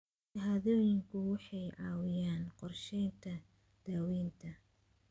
Shahaadooyinku waxay caawiyaan qorsheynta daawaynta.